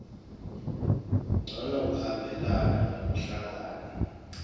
ncono kuhambelana nekuhlangana